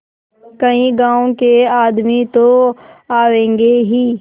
कई गाँव के आदमी तो आवेंगे ही